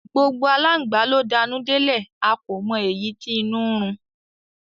Gbogbo alángbà ló danú delẹ̀, a kò mọ èyí tí inú ń run